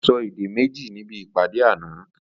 Ó sọ èdè méjì níbi ìpàdé àná